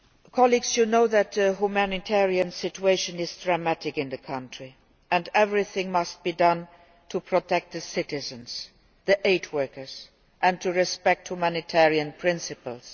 Colleagues, you know that the humanitarian situation is dramatic in the country and that everything must be done to protect the citizens and aid workers and to respect humanitarian principles.